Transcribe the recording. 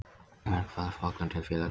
Verkfallsboðun til félagsdóms